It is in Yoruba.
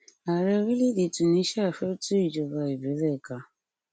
ààrẹ orílẹèdè tùníṣíà fẹ tú ìjọba ìbílẹ ká